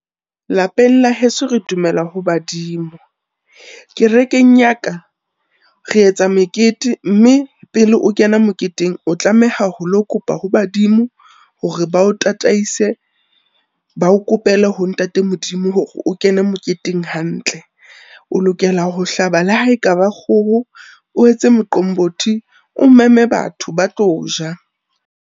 Lapeng la heso re dumela ho badimo. Kerekeng ya ka, re etsa mekete mme pele o kena moketeng o tlameha holo kopa ho badimo hore ba o tataise, ba o kopele ho Ntate Modimo hore o kene moketeng hantle. O lokela ho hlaba le ha e ka ba kgoho, o etse moqombothi, o meme batho ba tlo ja.